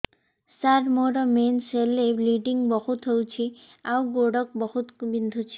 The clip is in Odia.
ସାର ମୋର ମେନ୍ସେସ ହେଲେ ବ୍ଲିଡ଼ିଙ୍ଗ ବହୁତ ହଉଚି ଆଉ ଗୋଡ ବହୁତ ବିନ୍ଧୁଚି